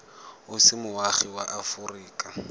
o se moagi wa aforika